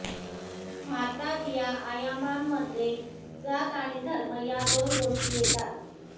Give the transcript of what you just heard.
भारतात या आयामांमध्ये जात आणि धर्म या दोन गोष्टी येतात